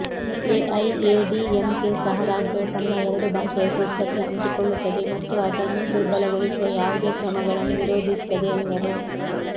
ಎಐಎಡಿಎಂಕೆ ಸಹ ರಾಜ್ಯವು ತನ್ನ ಎರಡು ಭಾಷೆಯ ಸೂತ್ರಕ್ಕೆ ಅಂಟಿಕೊಳ್ಳುತ್ತದೆ ಮತ್ತು ಅದನ್ನು ದುರ್ಬಲಗೊಳಿಸುವ ಯಾವುದೇ ಕ್ರಮಗಳನ್ನು ವಿರೋಧಿಸುತ್ತದೆ ಎಂದರು